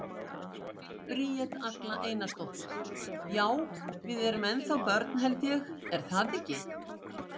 Bríet Agla Einarsdóttir: Já, við erum ennþá börn, held ég, er það ekki?